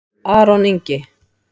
Aron Ingi